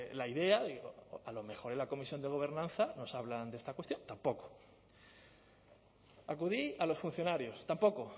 la idea digo a lo mejor en la comisión de gobernanza nos hablan de esta cuestión tampoco acudí a los funcionarios tampoco